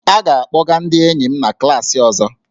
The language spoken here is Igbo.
A ga-akpọga ndị enyi m na klaasị ọzọ